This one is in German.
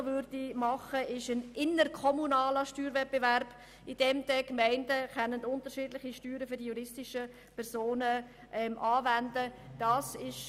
Nun würde auch noch ein interkommunaler Steuerwettbewerb hinzukommen, indem die Gemeinden unterschiedliche Steuern für die juristischen Personen anwenden könnten.